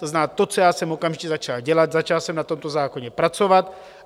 To znamená, to, co já jsem okamžitě začal dělat, začal jsem na tomto zákoně pracovat.